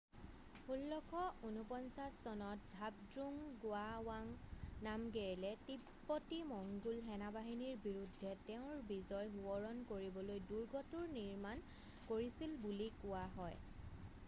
1649 চনত ঝাবদ্ৰুঙ গোৱাৱাঙ নামগেয়েলে তিব্বতী-মঙ্গোল সেনাবাহিনীৰ বিৰূদ্ধে তেওঁৰ বিজয় সোৱৰণ কৰিবলৈ দূৰ্গটোৰ নিৰ্মাণ কৰিছিল বুলি কোৱা হয়